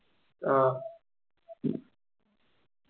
ആഹ്